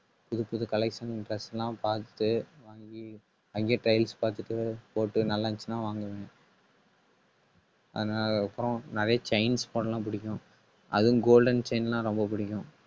புதுப்புது collection dress எல்லாம் பார்த்து, வாங்கி அங்கேயே பார்த்துட்டு போட்டு நல்லா இருந்துச்சுன்னா வாங்குவேன் அஹ் நான் அப்புறம் நிறைய chain spot எல்லாம் பிடிக்கும். அதுவும் golden chain ன்னா ரொம்ப பிடிக்கும்